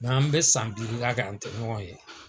an be san duuru kɛ an te ɲɔgɔn ye.